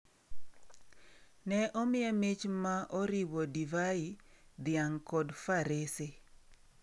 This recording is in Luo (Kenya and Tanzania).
Ne omiye mich ma oriwo divai, dhiang’ kod farese.